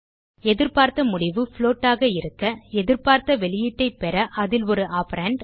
எதிர்பார்த்த முடிவு புளோட் ஆக இருக்க எதிர்பார்த்த வெளியீட்டைப் பெற அதில் ஒரு ஆப்பரண்ட்